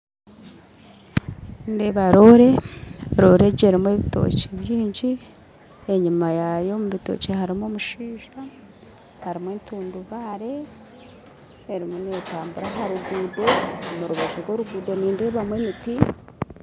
Nindeeba roore, reero egi erimu ebitookye bingyi, enyima yaayo erimu ebitookye harimu omushaija, harimu entundubare, erimu neetambura aharuguuto, omu rubaju rw'oruguuto nindeebamu emiti